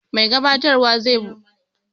Mai gabatarwa zai bude taron da gaisuwa da kuma godiya.